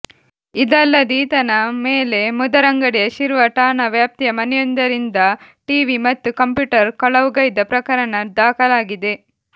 ಇದಲ್ಲದೆ ಈತನ ಮೇಲೆ ಮುದರಂಗಡಿಯ ಶಿರ್ವ ಠಾಣಾ ವ್ಯಾಪ್ತಿಯ ಮನೆಯೊಂದರಿಂದ ಟಿವಿ ಮತ್ತು ಕಂಪ್ಯೂಟರ್ ಕಳವುಗೈದ ಪ್ರಕರಣ ದಾಖಲಾಗಿದೆ